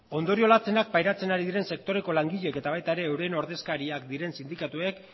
ondorio latzenak pairatzen ari diren sektoreko langileek eta baita ere euren ordezkariak diren sindikatuek